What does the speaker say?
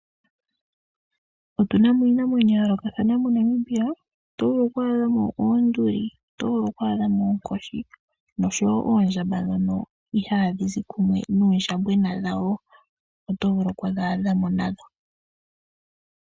Otuna mo iinamwenyo ya yoolokathathana moNamibia oto vulu ku adha mo oonduli, oto vulu ku adha mo oonkoshi nosho wo oondjamba dhono ihaadhi zi kumwe nuundjambona wadho oto vulu oku dhi adha mo nadho.